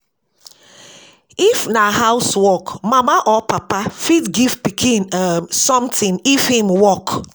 If na house work, mama or papa fit give pikin um something if im work